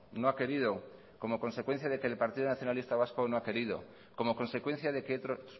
no ha querido como consecuencia de que el partido nacionalista vasco no ha querido como consecuencia de que otros